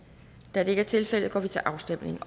da det ikke er tilfældet går vi til afstemning